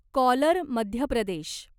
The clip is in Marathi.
कॉलर मध्य प्रदेश